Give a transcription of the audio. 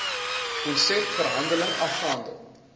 konsep verhandeling afgehandel